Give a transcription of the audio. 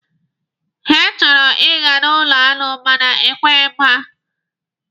He chọburu ịga n'ụlọ aṅụ mana e kweghi m ha.